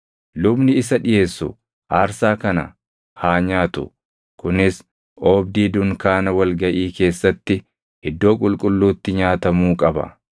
Lubni isa dhiʼeessu aarsaa kana haa nyaatu; kunis oobdii dunkaana wal gaʼii keessatti iddoo qulqulluutti nyaatamuu qaba.